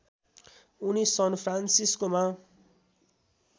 उनी सन फ्रान्सिस्कोमा